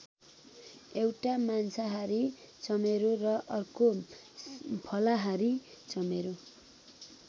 एउटा मांसाहारी चमेरो र अर्को फलाहारी चमेरो।